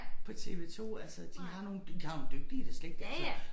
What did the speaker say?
På TV2 altså de har nogle de har nogle dygtige det slet ikke altså